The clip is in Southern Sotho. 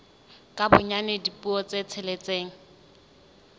ka bonyane dipuo tse tsheletseng